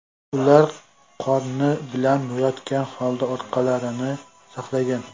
Ular qorni bilan yotgan holda orqalarini saqlagan.